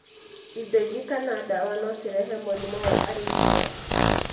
Indo ingĩ kana ndawa no cirehe mũrimũ wa arrhythmias.